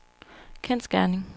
kendsgerning